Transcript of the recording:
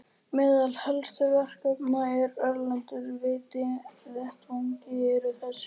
Meðal helstu verkefna á erlendum vettvangi eru þessi